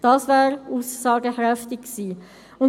Das wäre aussagekräftig gewesen.